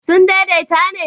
sun daidaita ne?